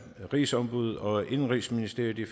rigsombuddet og indenrigsministeriet i